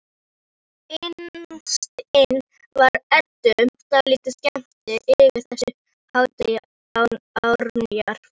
Innst inni var Eddu dálítið skemmt yfir þessu háttalagi Árnýjar.